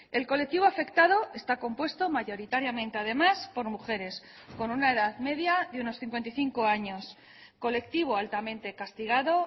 el colectivo afectado está compuesto mayoritariamente además por mujeres con una edad media de unos cincuenta y cinco años colectivo altamente castigado